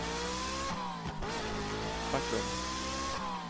Backlund